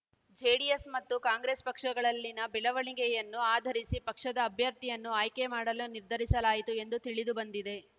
JDS ಮತ್ತು ಕಾಂಗ್ರೆಸ್‌ ಪಕ್ಷಗಳಲ್ಲಿನ ಬೆಳವಣಿಗೆಯನ್ನು ಆಧರಿಸಿ ಪಕ್ಷದ ಅಭ್ಯರ್ಥಿಯನ್ನು ಆಯ್ಕೆ ಮಾಡಲು ನಿರ್ಧರಿಸಲಾಯಿತು ಎಂದು ತಿಳಿದು ಬಂದಿದೆ